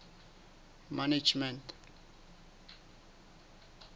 management